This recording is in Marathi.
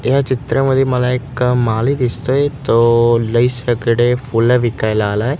या चित्रामध्ये मला एक माळी दिसतोयं तो लई सगळे फुलं विकायला आलायं.